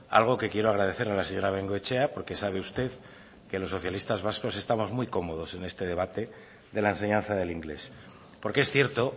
algo que quiero agradecer a la señora bengoechea porque sabe usted que los socialistas vascos estamos muy cómodos en este debate de la enseñanza del inglés porque es cierto